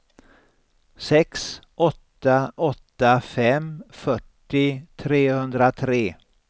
sex åtta åtta fem fyrtio trehundratre